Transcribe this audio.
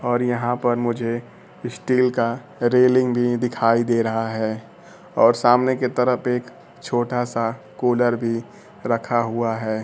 और यहां पर मुझे स्टील का रेलिंग भी दिखाई दे रहा है और सामने की तरफ एक छोटा सा कूलर भी रखा हुआ है।